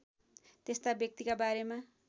त्यस्ता व्यक्तिका बारेमा